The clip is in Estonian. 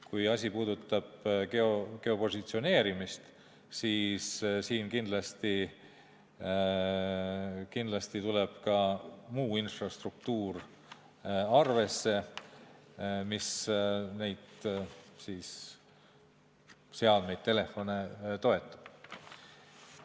Kui asi puudutab geopositsioneerimist, siis siin tuleb kindlasti ka muu infrastruktuur arvesse, mis neid seadmeid, telefone toetab.